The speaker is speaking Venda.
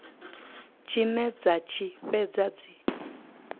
tshine dza tshi fhedza dzi